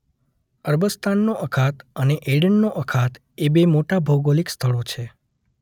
અરબસ્તાનનો અખાત અને એડનનો અખાત એ બે મોટા ભૌગલીક સ્થળો છે.